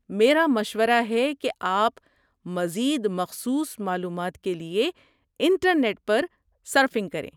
میرا مشورہ ہے کہ آپ مزید مخصوص معلومات کے لیے انٹرنیٹ پر سرفنگ کریں۔